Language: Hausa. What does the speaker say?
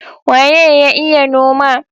Waye ya iya noma?